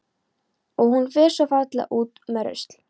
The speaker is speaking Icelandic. Og hún fer svo fallega út með rusl.